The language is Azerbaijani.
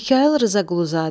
Mixayıl Rzaquluzadə.